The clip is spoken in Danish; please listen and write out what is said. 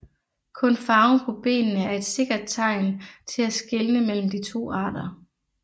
Kun farven på benene er et sikkert tegn til at skelne mellem de to arter